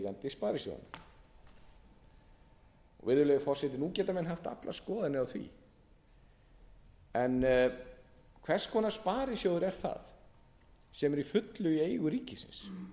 sparisjóðanna virðulegi forseti nú geta menn haft allar skoðanir á því en hvers konar sparisjóður er það sem er að fullu í eigu ríkisins nú er